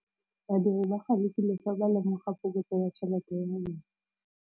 Badiri ba galefile fa ba lemoga phokotsô ya tšhelête ya bone.